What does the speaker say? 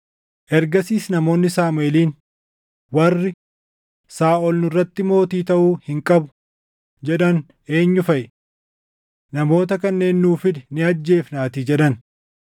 Ergasiis namoonni Saamuʼeeliin, “Warri, ‘Saaʼol nurratti mootii taʼuu hin qabu’ jedhan eenyu faʼi? Namoota kanneen nuu fidi ni ajjeefnaatii” jedhan.